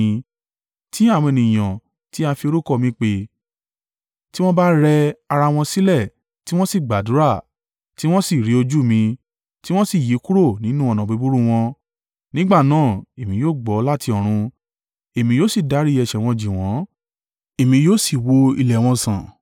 tí àwọn ènìyàn, tí a fi orúkọ mi pè, tí wọ́n bá rẹ ara wọn sílẹ̀, tí wọ́n sì gbàdúrà, tí wọ́n sì rí ojú mi, tí wọ́n sì yí kúrò nínú ọ̀nà búburú wọn, nígbà náà, èmi yóò gbọ́ láti ọ̀run, èmi yóò sì dárí ẹ̀ṣẹ̀ wọn jì wọ́n èmi yóò sì wo ilẹ̀ wọn sàn.